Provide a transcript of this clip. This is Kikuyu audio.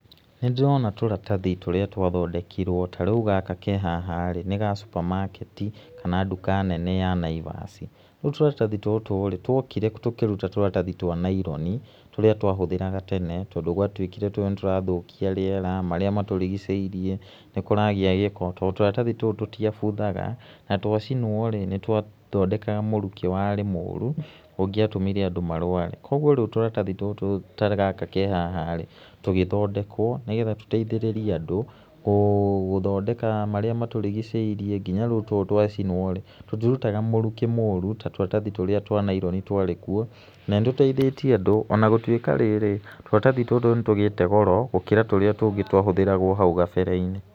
Nĩ ndĩrona tũratathi tũrĩa twathondekirwo ta rĩu gaka ke haha-rĩ nĩ ga supermarket kana nduka nene ya Naivas, rĩu tũratathi tũtũ-rĩ twokire tũkĩruta tũratathi twa naironi tũrĩa twahũthĩraga tene, tondũ gwatuĩkire tũũ nĩtũrathũkia rĩera marĩa matũrigiceĩrĩe, nĩkũragĩa gĩko tondũ tũratathi tũũ tũtiabuthaga na twacinwo rĩ nĩtwathondekaga mũrukĩ warĩ mũru ũngĩatũmire andũ marware kwa ũguo rĩu tũratathi tũtũ ta gaka ke haha rĩ tũgĩthondekwo nĩgetha tũteithĩrĩrie andũ gũthondeka marĩa matũrigiceirie nginya rĩu tũtũ twacinwo rĩ tũtirutaga mũrukíĩmũru ta tũratathi tũrĩa twa naironi twarĩ kũo na nĩtũteithĩtĩe andũ ona gũtũĩka rĩrĩ tũratathi tũtũ nĩtũgĩte goro gũkĩra tũrĩa tũngĩ twahũthĩragwo hau gabere-inĩ.